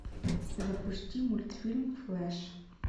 запусти мультфильм флэш